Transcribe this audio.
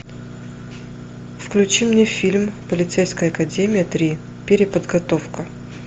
включи мне фильм полицейская академия три переподготовка